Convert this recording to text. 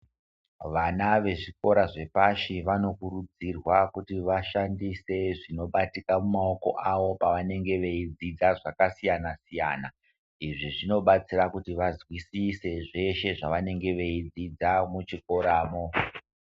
Vana vezvikora zvepashi vanokurudzirwa kuti vashandise zvinobatika mumaoko avo pavanenge veidzidza zvakasiyana siyana izvi zvinobatsira kuti vazwisise zveshe zvavanenge veidzidza muchikoramo.